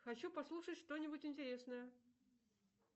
хочу послушать что нибудь интересное